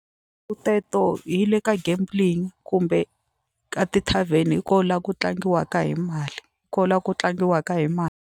teto hi le ka gambling kumbe ka ti-tarven hi ko la ku tlangiwaka hi mali ko la ku tlangiwaka hi mali.